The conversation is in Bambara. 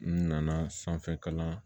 N nana sanfɛkalan